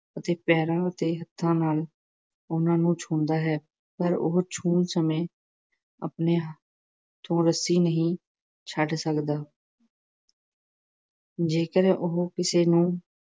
ਆਪਣੇ ਪੈਰਾਂ ਅਤੇ ਹੱਥਾਂ ਨਾਲ ਉਹਨਾਂ ਨੂੰ ਛੂੰਹਦਾ ਹੈ ਪਰ ਉਹ ਛੂਹਣ ਸਮੇਂ ਆਪਣੇ ਹੱਥੋਂ ਰੱਸੀ ਨਹੀਂ ਛੱਡ ਸਕਦਾ। ਜੇਕਰ ਉਹ ਕਿਸੇ ਨੂੰ